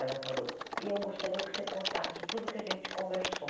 Ela falou, e eu gostaria que você contasse tudo que a gente conversou.